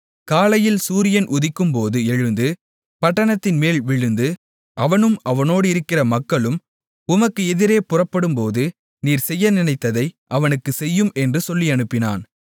காலையில் சூரியன் உதிக்கும்போது எழுந்து பட்டணத்தின்மேல் விழுந்து அவனும் அவனோடிருக்கிற மக்களும் உமக்கு எதிரே புறப்படும்போது நீர் செய்ய நினைத்ததை அவனுக்குச் செய்யும் என்று சொல்லியனுப்பினான்